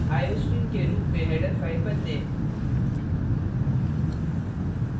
iostream के रूप में header फ़ाइल बदलें